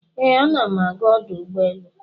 Ee, ana m aga ọdụ ụgbọ elu.